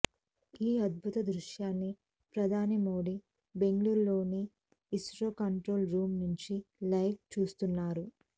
ఈ అద్భుత దృశ్యాన్ని ప్రధాని మోదీ బెంగళూరులోని ఇస్రో కంట్రోల్ రూమ్ నుంచి లైవ్లో చూస్తున్నారు